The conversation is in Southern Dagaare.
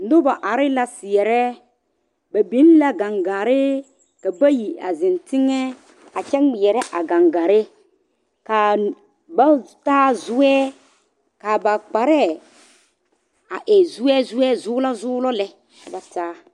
Noba are seɛre la ba biŋ la gangare ka bayi a zeŋ teŋɛ a kyɛ ŋmeɛre a gangare ka ba taa zoe ka ba kparre e zoe Zoe zulɔ zulɔlɛ ka ba taa.